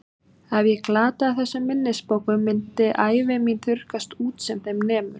Ef ég glataði þessum minnisbókum myndi ævi mín þurrkast út sem þeim nemur.